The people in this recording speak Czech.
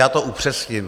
Já to upřesním.